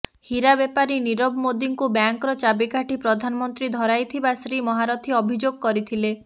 ହୀରା ବେପାରି ନିରବ ମୋଦିଙ୍କୁ ବ୍ୟାଙ୍କର ଚାବିକାଠି ପ୍ରଧାନମନ୍ତ୍ରୀ ଧରାଇଥିବା ଶ୍ରୀ ମହାରଥୀ ଅଭିଯୋଗ କରିଥିଲେ